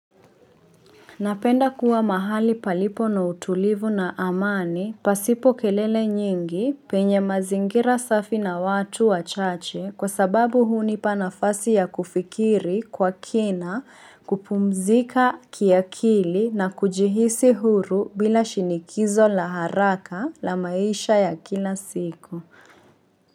Napenda kuwa mahali palipo na utulivu na amani pasipo kelele nyingi penye mazingira safi na watu wa chache kwa sababu hunipanafasi ya kufikiri kwa kina kupumzika kiakili na kujihisi huru bila shinikizo la haraka la maisha ya kila siku.